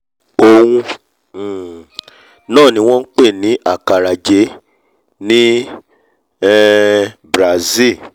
òun um náà ni wọ́n ń pè ní acarajé ní um brasil